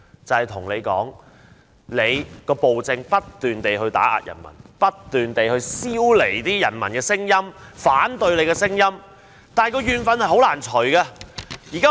就是說當權者不斷以暴政打壓人民，不斷消弭人民的聲音、反對的聲音，但仍難除去怨憤。